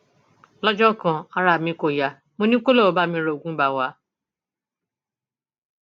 lọjọ kan ara mi kò yá mo ní kó lọọ bá mi ra oògùn ibà wa